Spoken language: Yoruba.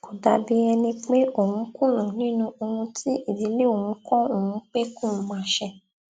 kó dàbí ẹni pé òun kùnà nínú ohun tí ìdílé òun kó òun pé kóun máa ṣe